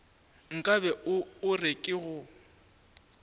nkabe o re ke go